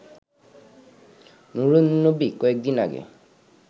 নুরুন্নবী কয়েকদিন আগে